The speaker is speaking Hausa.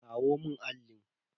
Kawo mun allin.